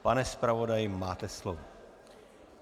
Pane zpravodaji, máte slovo.